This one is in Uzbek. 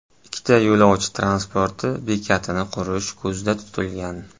Ikkita yo‘lovchi transporti bekatini qurish ko‘zda tutilgan.